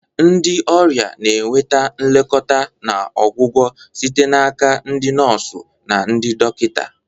Ndị ọrịa na-enweta nlekọta na ọgwụgwọ site n'aka ndị nọọsụ na ndị dọkịta.